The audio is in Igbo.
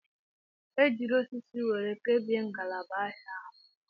E jiiri osisi were kebie ngalaba ahịa ahụ.